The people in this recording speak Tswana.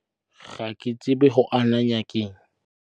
Ga ke go anaya ke eng.